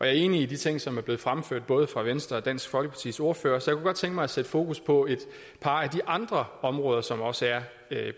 er enig i de ting som er blevet fremført både fra venstres og dansk folkepartis ordfører så godt tænke mig at sætte fokus på et par af de andre områder som også er